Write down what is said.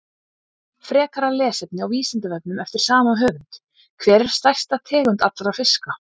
Frekara lesefni á Vísindavefnum eftir sama höfund: Hver er stærsta tegund allra fiska?